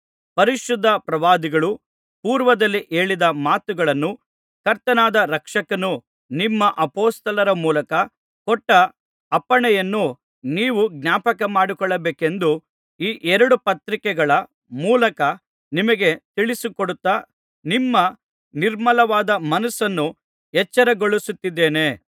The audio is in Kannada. ಪರಿಶುದ್ಧ ಪ್ರವಾದಿಗಳು ಪೂರ್ವದಲ್ಲಿ ಹೇಳಿದ ಮಾತುಗಳನ್ನೂ ಕರ್ತನಾದ ರಕ್ಷಕನು ನಿಮ್ಮ ಅಪೊಸ್ತಲರ ಮೂಲಕ ಕೊಟ್ಟ ಅಪ್ಪಣೆಯನ್ನೂ ನೀವು ಜ್ಞಾಪಕಮಾಡಿಕೊಳ್ಳಬೇಕೆಂದು ಈ ಎರಡು ಪತ್ರಿಕೆಗಳ ಮೂಲಕ ನಿಮಗೆ ತಿಳಿಸಿಕೊಡುತ್ತಾ ನಿಮ್ಮ ನಿರ್ಮಲವಾದ ಮನಸ್ಸನ್ನು ಎಚ್ಚರಗೊಳಿಸುತ್ತಿದ್ದೇನೆ